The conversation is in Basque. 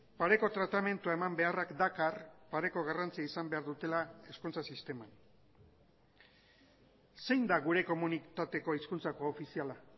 pareko tratamendua eman beharrak dakar pareko garrantzia izan behar dutela hezkuntza sisteman zein da gure komunitateko hizkuntza koofiziala